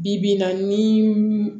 Bi bi in na ni